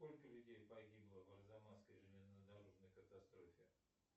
сколько людей погибло в арзамасской железнодорожной катастрофе